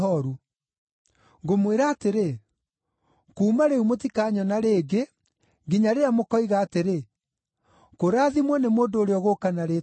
Ngũmwĩra atĩrĩ, kuuma rĩu mũtikanyona rĩngĩ nginya rĩrĩa mũkoiga atĩrĩ, ‘Kũrathimwo nĩ mũndũ ũrĩa ũgũũka na rĩĩtwa rĩa Mwathani.’ ”